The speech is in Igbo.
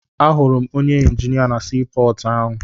Ahụrụ m onye injinia na sii pọọtụ ahụ.